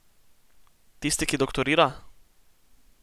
Tisti, ki doktorira?